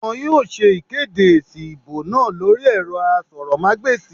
Wọn yóò ṣe ìkéde èsì ìbò náà lórí ẹ̀rọ asọ̀rọ̀mágbèsì